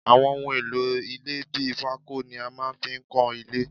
Àwọn ohun èlò ilẹ́ bí pako ni a máa ń fi nkọ ilé